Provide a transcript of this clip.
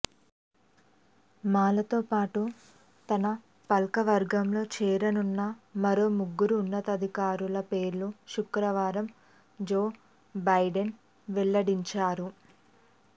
మాలాతో పాటు తన పాలకవర్గంలో చేరనున్న మరో ముగ్గురు ఉన్నతాధికారుల పేర్లను శుక్రవారం జో బైడెన్ వెల్లడించారు